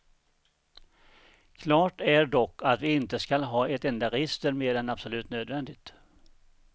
Klart är dock att vi inte skall ha ett enda register mer än absolut nödvändigt.